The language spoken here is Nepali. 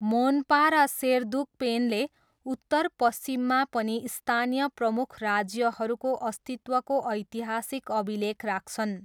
मोनपा र सेरदुकपेनले उत्तरपश्चिममा पनि स्थानीय प्रमुख राज्यहरूको अस्तित्वको ऐतिहासिक अभिलेख राख्छन्।